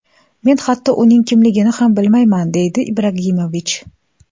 Men hatto uning kimligini ham bilmayman”, deydi Ibragimovich.